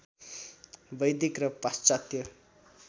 वैदिक र पाश्चात्य